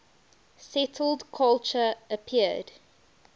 settled culture appeared